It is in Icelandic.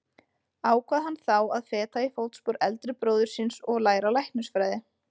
Ákvað hann þá að feta í fótspor eldri bróður síns og læra læknisfræði.